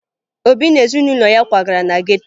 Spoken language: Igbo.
Obi na ezinụlọ ya kwagara na geto